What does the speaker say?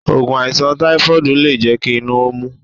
Ògùn àìsàn táífọ́ọ̀dù lé jẹ́ ti inú omi